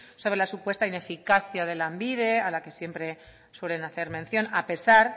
sobre la supuesta ineficacia de lanbide a la que siempre suelen hacer mención a pesar